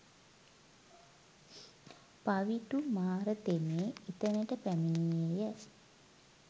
පවිටු මාර තෙමේ එතැනට පැමිණියේ ය